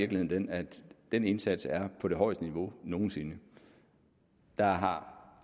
den at den indsats er på det højeste niveau nogen sinde der